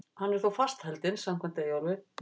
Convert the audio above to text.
Hann er þó fastheldinn samkvæmt Eyjólfi.